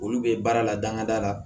Olu bɛ baara la dangada la